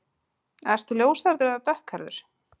Ertu ljóshærður eða dökkhærður?